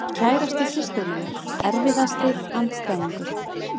Kærasti systur minnar Erfiðasti andstæðingur?